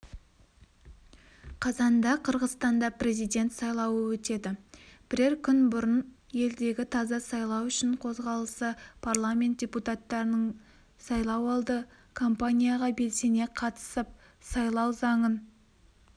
қазанда қырғызстанда президент сайлауы өтеді бірер күн бұрын елдегі таза сайлау үшін қозғалысы парламент депутаттарының сайлауалды кампанияға белсене қатысып сайлау заңын